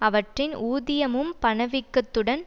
அவற்றின் ஊதியமும் பணவீக்கத்துடன்